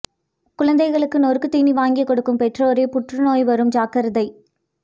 குழந்தைகளுக்கு நொறுக்குத்தீனி வாங்கி கொடுக்கும் பெற்றோரே புற்று நோய் வரும் ஜாக்கிரதை